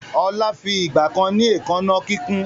Ọlá fi ìgbàkan ni èékánná kíkún